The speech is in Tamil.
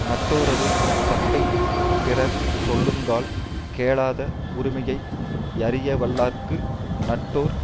நட்டோரது தப்பைப் பிறர் சொல்லுங்கால் கேளாத உரிமையை யறியவல்லார்க்கு நட்டோர்